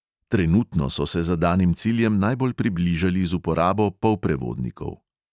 Trenutno so se zadanim ciljem najbolj približali z uporabo polprevodnikov.